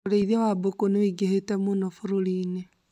ũrĩithia wa mbũkũ nĩ wũingĩhĩte mũno bũrũri inĩ